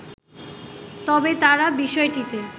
তবে তারা বিষয়টিতে